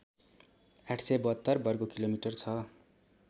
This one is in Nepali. ८७२ वर्गकिलोमिटर छ